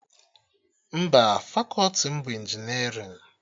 Mba, fakọti m bụ injinerịn